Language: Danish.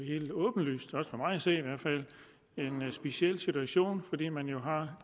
helt åbenlyst for mig at se i hvert fald en speciel situation fordi man jo har